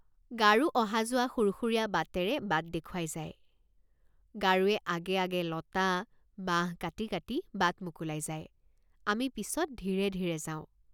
গাৰো অহাযোৱা সুৰসুৰীয়া বাটেৰে বাট দেখুৱাই যায় গাৰোৱে আগে আগে লতা বাঁহ কাটি কাটি বাট মোকোলাই যায় আমি পিচত ধীৰে ধীৰে যাওঁ।